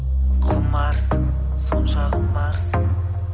құмарсың сонша құмарсың